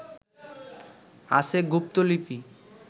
আছে গুপ্তলিপি